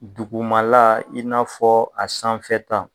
Dugumala i n'a fɔ, a sanfɛ ta.